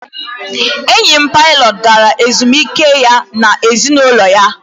enyi m pilot gara ezumike ya na ezinụlọ ya